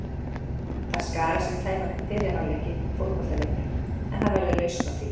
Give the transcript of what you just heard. Það skarast um tæpan fyrri hálfleik í fótboltaleiknum en það verður lausn á því.